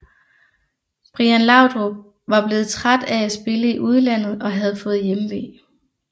Brian Laudrup var blevet træt af at spille i udlandet og havde fået hjemve